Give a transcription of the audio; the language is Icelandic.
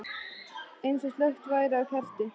Eins og slökkt væri á kerti.